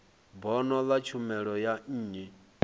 bono ḽa tshumelo ya nnyi